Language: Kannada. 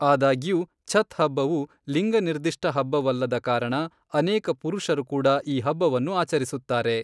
ಆದಾಗ್ಯೂ, ಛತ್ ಹಬ್ಬವು, ಲಿಂಗ ನಿರ್ದಿಷ್ಟ ಹಬ್ಬವಲ್ಲದ ಕಾರಣ ಅನೇಕ ಪುರುಷರು ಕೂಡ ಈ ಹಬ್ಬವನ್ನು ಆಚರಿಸುತ್ತಾರೆ.